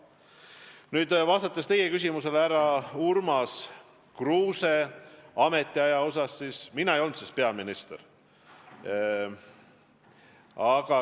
Nüüd, vastates teie küsimusele härra Urmas Kruuse ametiaja kohta – mina ei olnud siis peaminister.